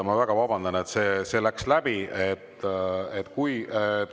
Ma väga vabandan, et läks läbi.